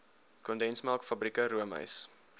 kondensmelk fabrieke roomys